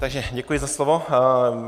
Takže děkuji za slovo.